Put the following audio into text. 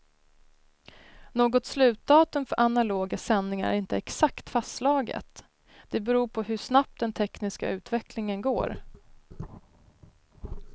Något slutdatum för analoga sändningar är inte exakt fastslaget, det beror på hur snabbt den tekniska utvecklingen går.